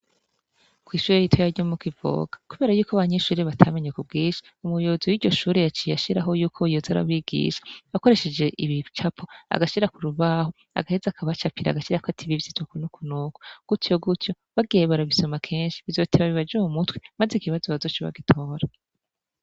Kw'ishure rito yaryo muko ivoka, kubera yuko banyinshurire batamenye kubwisha umuyobozi w'iryo shure yacie yashiraho yuko byoza arabigisha bakoresheje ibicapo agashira ku rubaho agaheza akabacapira agashira ko atibivyo tuku no kunoko gutyo gutyo bagiye barabisoma kenshi bizoteba bibaje mu mutwe, maze ikibazo bazo c'bagitora.